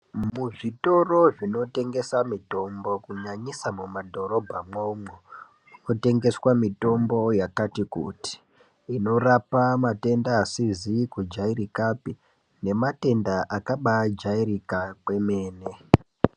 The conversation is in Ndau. Muzvitoro zvinotengesa mitombo kunyanyisa madhorobhamwomwo umo munotengeswa mitombo yakati kuti inorapa matenda asizi kujairikapi nematenda akabajairika kwemene .